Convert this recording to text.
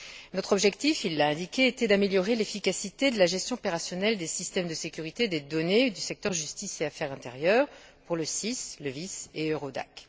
Notre objectif, il l'a indiqué, était d'améliorer l'efficacité de la gestion opérationnelle des systèmes de sécurité des données du secteur de la justice et des affaires intérieures, pour le SIS, le VIS et EURODAC.